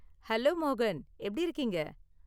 Hello மோகன், எப்படி இருக்கீங்க?